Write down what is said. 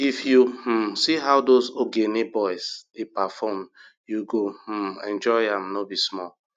if you um see how those ogene boys dey perform u go um enjoy am no be small